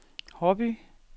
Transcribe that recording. Haarby